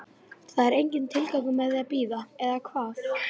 Það er enginn tilgangur með því að bíða, eða hvað?